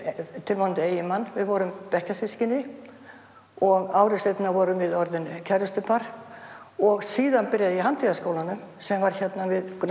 tilvonandi eiginmann við vorum bekkjarsystkini og ári síðar vorum við orðin kærustupar og síðan byrjaði ég í handíðaskólanum sem var hérna við